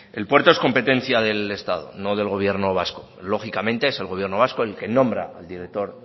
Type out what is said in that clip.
el puerto es competencia del estado no del gobierno vasco lógicamente es el gobierno vasco el que nombra el director